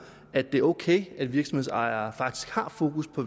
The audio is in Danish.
at det er ok at virksomhedsejere faktisk har fokus på